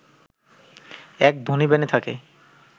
এক ধনী বেনে থাকে